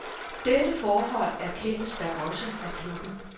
Dette forhold erkendes da også af klubben.